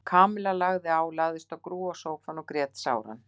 Kamilla lagði á, lagðist á grúfu í sófann og grét sáran.